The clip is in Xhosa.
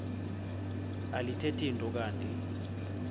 alithethi nto kanti